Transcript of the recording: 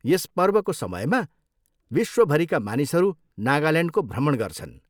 यस पर्वको समयमा विश्वभरिका मानिसहरू नागाल्यान्डको भ्रमण गर्छन्।